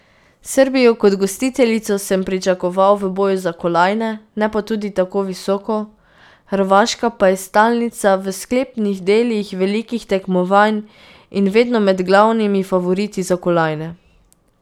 Srbijo kot gostiteljico sem pričakoval v boju za kolajne, ne pa tudi tako visoko, Hrvaška pa je stalnica v sklepnih delih velikih tekmovanj in vedno med glavnimi favoriti za kolajne.